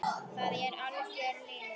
Það er algjör lygi.